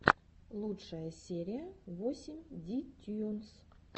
лучшая серия восемь ди тьюнс